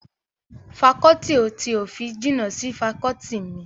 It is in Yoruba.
Fakọọti ti òfin jìnnà sí fakọọti mi